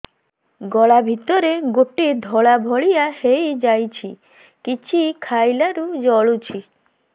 ଗଳା ଭିତରେ ଗୋଟେ ଧଳା ଭଳିଆ ହେଇ ଯାଇଛି କିଛି ଖାଇଲାରୁ ଜଳୁଛି